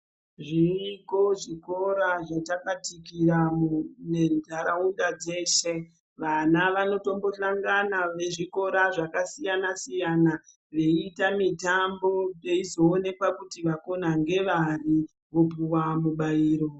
Zviriyo zvikora zvatakatikira menharaunda dzeshe , vana vanotombohlangana vezvikora zvakasiyana siyana veiita mitambo peizoonekwa kuti vakona ngevari vopuwa mubairo.